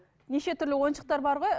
неше түрлі ойыншықтар бар ғой